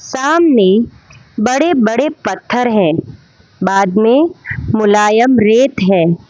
सामने बड़े बड़े पत्थर है बाद में मुलायम रेत है।